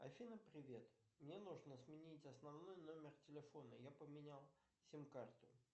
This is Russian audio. афина привет мне нужно сменить основной номер телефона я поменял сим карту